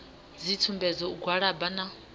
dzitsumbedzo u gwalaba na u